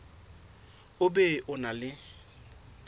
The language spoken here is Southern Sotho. o be o na le